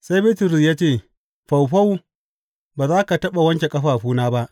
Sai Bitrus ya ce, Faufau, ba za ka taɓa wanke ƙafafuna ba.